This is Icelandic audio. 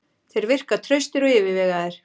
Þeir virka traustir og yfirvegaður.